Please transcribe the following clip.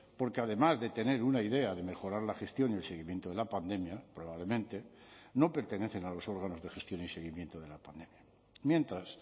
porque además de tener una idea de mejorar la gestión y el seguimiento de la pandemia probablemente no pertenecen a los órganos de gestión y seguimiento de la pandemia mientras